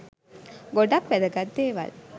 ගොඩක් වැදගත් දේවල්